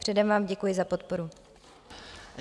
Předem vám děkuji za podporu.